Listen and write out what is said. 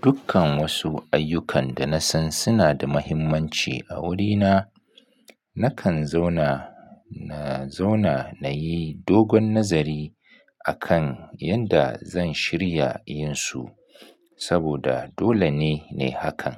Dukkan wasu ayyukan dana san suna da mahimmanci a wurina, nakan zauna, na zauna nayi dogon nazari akan yadda zan shirya yinsu saboda dole ne, nayi hakan.